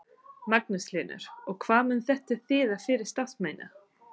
Magnús Hlynur: Og hvað mun þetta þýða fyrir starfsemina?